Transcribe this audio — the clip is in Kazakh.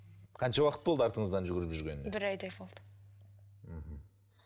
қанша уақыт болды артыңыздан жүгіріп жүргеніне бір айдай болды мхм